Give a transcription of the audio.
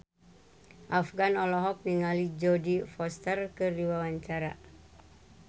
Afgan olohok ningali Jodie Foster keur diwawancara